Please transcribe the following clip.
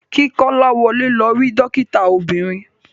Ki Kolawole lọ ri dokita obiririn.